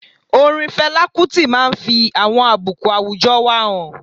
Orin Fela Kuti máa n fi àwọn àbùkù àwùjọ wa han